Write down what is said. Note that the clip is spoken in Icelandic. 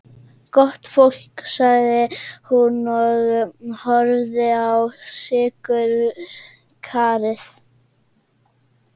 Gott fólk, sagði hún og horfði á sykurkarið.